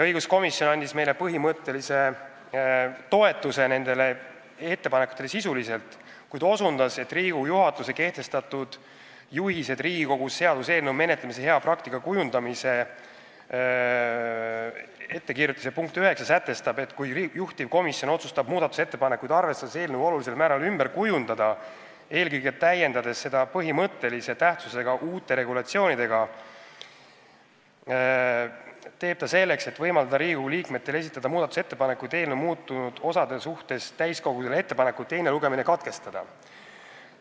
Õiguskomisjon sisuliselt neid ettepanekuid toetas, kuid osutas, et Riigikogu juhatus on kehtestatud "Juhised Riigikogus seaduseelnõu menetlemise hea praktika kujundamiseks" ja nende punkt 9 sätestab, et kui juhtivkomisjon otsustab muudatusettepanekuid arvestades eelnõu olulisel määral ümber kujundada, eelkõige täiendades seda põhimõttelise tähtsusega uute regulatsioonidega, siis teeb ta selleks, et võimaldada Riigikogu liikmetel esitada muudatusettepanekuid eelnõu muutunud osade kohta, täiskogule ettepaneku teine lugemine katkestada.